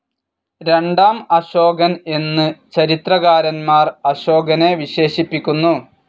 രണ്ടാം അശോകൻ എന്നു ചരിത്രകാരൻമാർ അശോകനെ വിശേഷിപ്പിക്കുന്നു.